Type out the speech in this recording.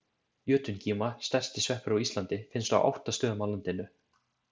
Jötungíma, stærsti sveppur á Íslandi, finnst á átta stöðum á landinu.